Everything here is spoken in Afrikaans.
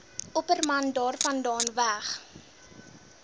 opperman daarvandaan weg